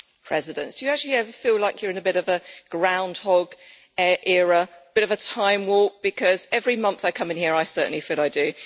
Mr President, do you actually ever feel like you are in a bit of a groundhog era bit of a time warp because every month I come in here, I certainly feel I do.